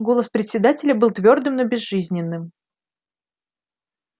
голос председателя был твёрдым но безжизненным